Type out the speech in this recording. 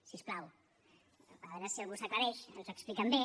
si us plau a veure si algú s’aclareix ens ho expliquen bé